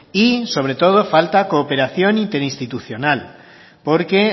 y sobre todo falta cooperación interinstitucional porque